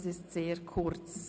das ist sehr kurz.